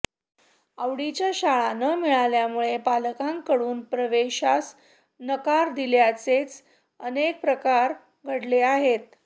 आवडीच्या शाळा न मिळाल्यामुळे पालकांकडून प्रवेशास नकार दिल्याचेच अनेक प्रकार घडले आहेत